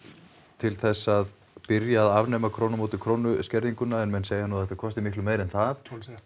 til þess að byrja að afnema krónu móti krónu skerðinguna en menn segja nú að þetta kosti miklu meira en það